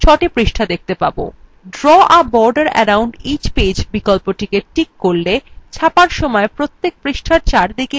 draw a border around each page বিকল্পে tick করলে ছাপার সময় প্রত্যেক পৃষ্ঠার চারদিকে একটি কালো সীমানা থাকবে